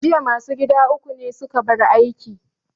Jiya ma su gadi uku ne su ka bar aiki.